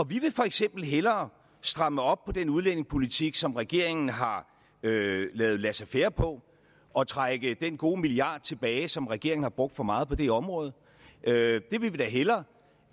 vi vil for eksempel hellere stramme op på den udlændingepolitik som regeringen har lavet laissez faire på og trække den gode milliard tilbage som regeringen har brugt for meget på det område det vil vi da hellere